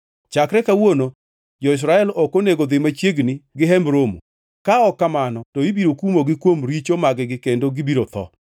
Chakre kawuono jo-Israel ok onego dhi machiegni gi Hemb Romo, ka ok kamano to ibiro kumogi kuom richo mag-gi kendo gibiro tho.